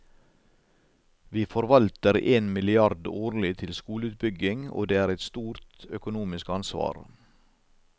Vi forvalter én milliard årlig til skoleutbygging, og det er et stort økonomisk ansvar.